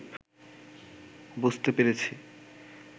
বুঝতে পেরেছি